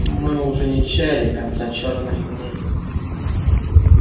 мы уж и не чаяли конца чёрных дней